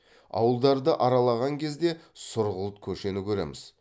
ауылдарды аралаған кезде сұрғылт көшені көреміз